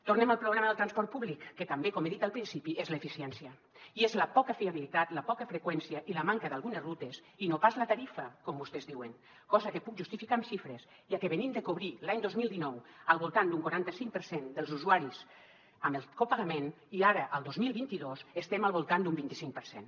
tornem al problema del transport públic que també com he dit al principi és l’eficiència i és la poca fiabilitat la poca freqüència i la manca d’algunes rutes i no pas la tarifa com vostès diuen cosa que puc justificar amb xifres ja que venim de cobrir l’any dos mil dinou al voltant d’un quaranta cinc per cent dels usuaris amb el copagament i ara el dos mil vint dos estem al voltant d’un vint i cinc per cent